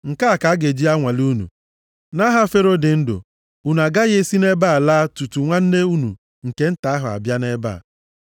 Nke a ka a ga-eji anwale unu. Nʼaha Fero dị ndụ, unu agaghị esi nʼebe a laa tutu nwanne unu nke nta ahụ abịa nʼebe a.